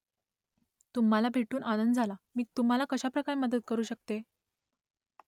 तुम्हालाही भेटून आनंद झाला . मी तुम्हाला कशाप्रकारे मदत करू शकते ?